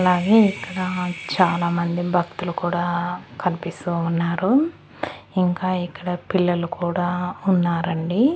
అలాగే ఇక్కడ చాలామంది భక్తులు కూడా కన్పిస్తూ ఉన్నారు ఇంకా ఇక్కడ పిల్లలు కూడా ఉన్నారండి.